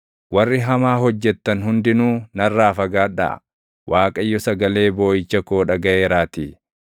Warri hamaa hojjettan hundinuu narraa fagaadhaa; Waaqayyo sagalee booʼicha koo dhagaʼeeraatii.